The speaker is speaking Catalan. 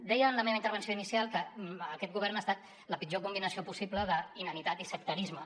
deia en la meva intervenció inicial que aquest govern ha estat la pitjor combinació possible d’inanitat i sectarisme